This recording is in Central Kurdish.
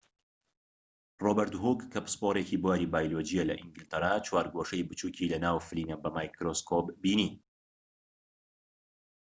ڕۆبێرت هووک کە پسپۆڕێکی بواری بایۆلۆجییە لە ئینگلتەرا چوارگۆشەی بچووکی لە ناو فلینە بە مایکرۆسکۆب بینی